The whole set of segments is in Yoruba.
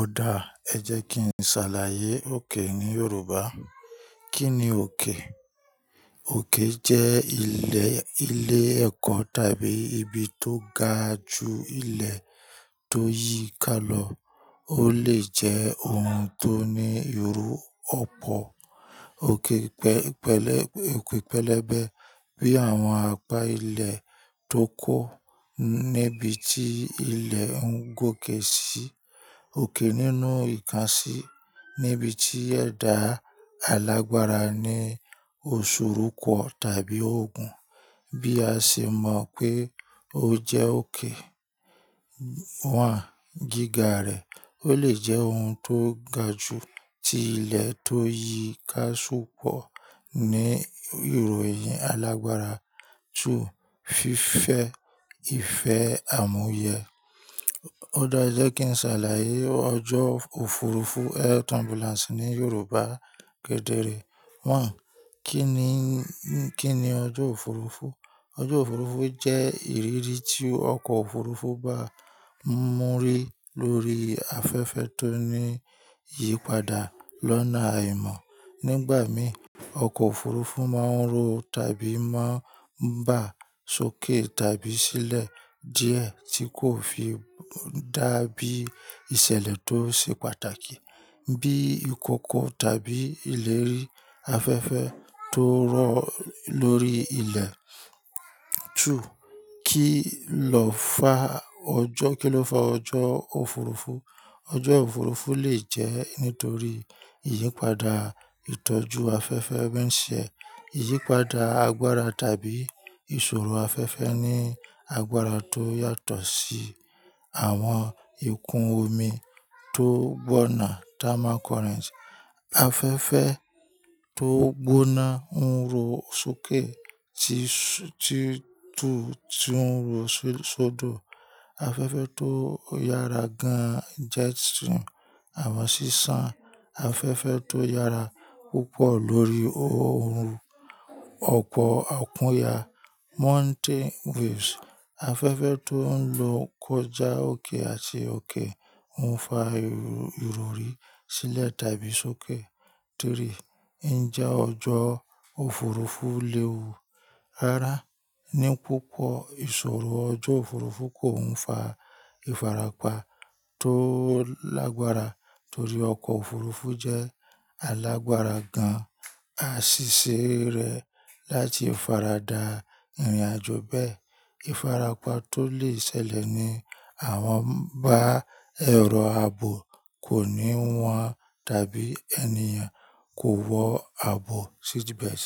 Ó dáa, ẹ jẹ́ kí n ṣàlàyé òkè ní Yorùbá. Kí ni òkè? Òkè jẹ́ ilẹ̀, ilẹ̀ ẹ̀kọ́ tàbí ibi tó ga ju ilẹ̀ tó yí i ká lọ. Ó lè jẹ́ ohun tó ní ìru ọ̀pọ̀, oke òkè pẹ̀lẹ́bẹ́ bí àwọn àpá ilẹ̀ tó kó níbi tí ilẹ̀ ń gòkè sí, òkè nínú ìkansí níbi tí ẹ̀dà alágbára ni òṣòrùkọ tàbí òògùn bí a ṣe mọ̀ pé ó jẹ́ òkè. Gíga rẹ̀, ó lè jẹ́ ohun tó ga ju ti ilẹ̀ tó yí i ká sùpọ ní ìròyìn alágbára. Fífẹ́, ìfẹ́ àmúyẹ. Ó dáa e jẹ́ kí n ṣàlàyé ọjọ́ òfurufú Air turbulence ní Yorùbá kedere. Kí ni, kí ni ọjọ́ òfurufú? Ọjọ́ òfurufú jẹ́ ìrírí tí ọkọ̀ òfurufú bá ń múrí lórí afẹ́fẹ́ tó ń yípadà lọ́nà aimọ̀. Nígbà mìí, ọkọ̀ òfurufú máa ń ro tàbí máa ń bà sókè tàbí sílẹ̀ díẹ̀ tí kò fi dá bí ìṣẹ̀lẹ̀ tó ṣe pàtàkì bí ìkọkọ tàbí ìlérí afẹ́fẹ́ tó rọ̀ lórí ilẹ̀. Kí lọ fá ọjọ́, kí ló fa ọjọ́ òfurufú? Ọjọ́ òfurufú lè jẹ́ nítorí ìyípadà ìtọ́jú afẹ́fẹ́ ń ṣe, ìyípadà agbára tàbí ìṣòro afẹ́fẹ́ ní agbára tó yàtọ̀ sí àwọn ikùn omi tó gboọ̀nà thermal currents. Afẹ́fẹ́ tó gbóná ń ru sókè tí, tí tuń sin ru sódò. Afẹ́fẹ́ tó yára gan-an jets àwọn sísán. Afẹ́fẹ́ tó yára púpọ̀ lórí ohun ọ̀pọ̀ òkunyà mountain waves. Afẹ́fẹ́ tó ń lo kọjá òkè àti òkè ń fa ìrọrí sílẹ̀ tàbí sókè. Ǹjẹ́ ọjọ́ òfurufú léwu? Rárá, ní púpọ̀ ìṣòro ọjọ́ òfurufú kò ń fa ìfarapa tó alágbára torí ọkọ̀ òfurufú jẹ́ alágbára gan-an àa sìṣe rẹ̀ láti farada ìrìnàjò bẹ́ẹ̀. Ìfarapa tó lè ṣẹlẹ̀ ni àwọn bá ẹ̀rọ ààbò kò ní wọn tàbí ènìyàn kò wọ ààbò seatbelt.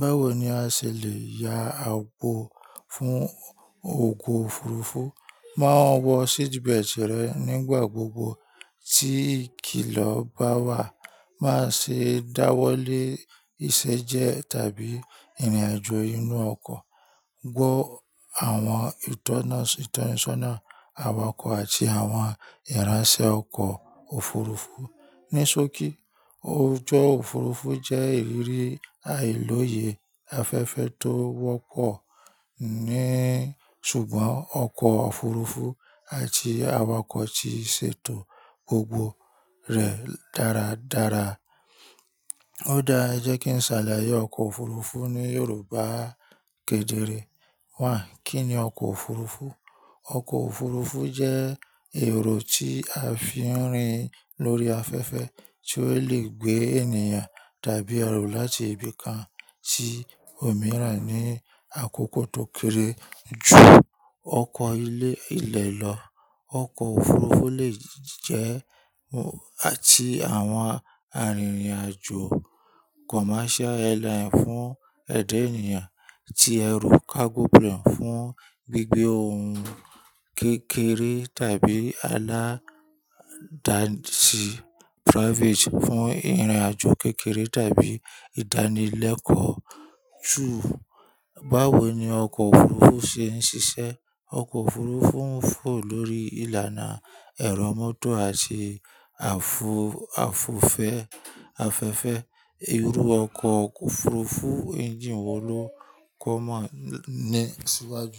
Báwo ni a ṣe lè ya ààbò fún òko òfurufú? Máa wọ seatbelt rẹ nígbà gbogbo tí ikìlọ̀ bá wà. Má ṣe dáwọ́ lé iṣẹ́ jẹ tàbí ìrìnàjò inú ọkọ̀. Wọ àwọn ìtọ̀nisọ́nà àwakọ̀ àti àwọn ìránṣẹ̀ ọkọ̀ òfurufú. Ní sókí, ọjọ́ òfurufú jẹ́ ìrírí àìlòyè afẹ́fẹ́ tó wọ́pọ̀ ní ṣùgbọ́n ọkọ̀ òfurufú àti awàkọ̀ ti ṣètò gbogbo rẹ̀ dáradára. Ó dáa, ẹ jẹ́ kí n ṣàlàyé ọkọ̀ òfurufú ní Yorùbá kedere. Kí ni ọkọ̀ òfurufú? Ọkọ̀ òfurufú jẹ́ èrò tí a fi ń rìn lórí afẹ́fẹ́ tí ó lè gbé ènìyàn tàbí ẹrù láti ibi kan sí òmíràn ní àkókò tó kéré ju ọkọ̀ ilé ilẹ̀ lọ. Ọkọ̀ òfurufú lè jẹ́ àti àwọn arìnrìn-àjò commercial airline fún ẹ̀dá ènìyàn tí ẹrú cargo plane fún gbígbé ohun kékeré tàbí aláda sí private fún ìrìnàjò kékeré tàbí ìdánilẹ́kọ̀ọ́. Báwo ni ọkọ̀ òfurufú ṣe ń ṣiṣẹ́? Ọkọ̀ òfurufú ń fò lórí ìlànà ẹ̀rọ mọ́tò àti àfò, àfòfẹ́ afẹ́fẹ́. Irú ọkọ̀ òfurufú engine wọ́ ló common ní síwájú.